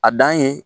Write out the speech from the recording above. A dan ye